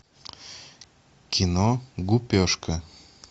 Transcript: кино гупешка